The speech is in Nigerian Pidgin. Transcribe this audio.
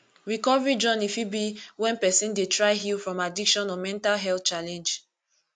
recovery journey fit be when person dey try heal from addiction or mental health challenge